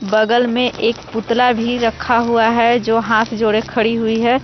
बगल में एक पुतला भी रखा हुआ है जो हाथ जोड़े खड़ी हुई है।